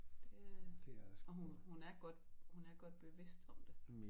Det øh og hun hun er godt hun er godt bevidst om det